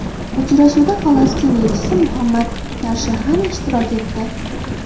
Uchrashuvda Falastin elchisi Muhammad Tarshahani ishtirok etdi.